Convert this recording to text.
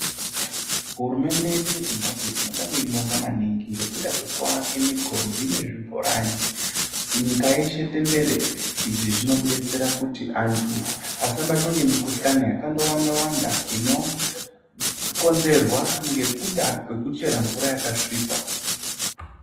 Hurumende yedu yeZimbabwe tinoda kuibonga maningi ngekuda kwekuake migodhi nezvibhorani nyika yeshe tenderere izvii zvinodetsera kuti antu asabatwe ngemukuhlani yakawanda wanda inokonzerwa ngekuchera mvura yakasvipa.